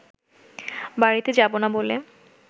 বাড়িতে যাব না বলে